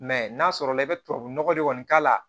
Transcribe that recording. n'a sɔrɔ la i bɛ tubabunɔgɔ de kɔni k'a la